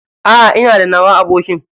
A'a Ina da nawa abokin.